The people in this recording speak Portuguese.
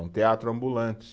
É um teatro ambulante.